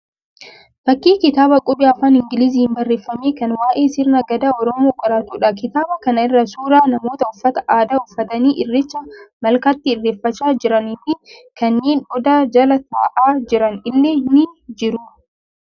Fakkii kitaaba qubee afaan Ingiliziin barreeffame kan waa'ee sirna gadaa oromoo qoratuudha. Kitaaba kana irra suuraa namoota uffata aadaa uffatanii irreecha malkaatti irreeffachaa jiranii fi kanneen odaa jala ta'aa jiran illee ni jiru.